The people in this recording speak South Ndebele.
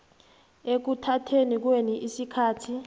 ekuthatheni kwenu isikhathi